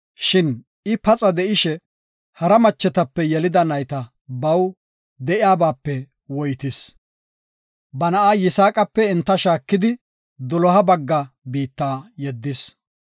Shin I paxa de7ishe, hara machetape yelida nayta baw de7iyabaape woytis. Ba na7a Yisaaqape enta shaakidi, doloha bagga biitta yeddis.